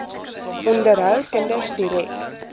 onderhou kinders direk